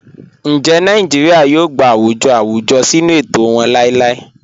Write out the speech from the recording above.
Ńjẹ́ Nàìjíríà yóò gbà àwùjọ̀ àwùjọ̀ sínu ètò wọn làìlàì?"